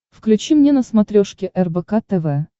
включи мне на смотрешке рбк тв